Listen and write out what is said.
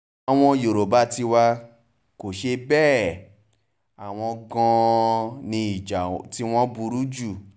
àwọn yorùbá tiwa kò ṣe bẹ́ẹ̀ o àwọn gan-an ni ìjà tiwọn burú jù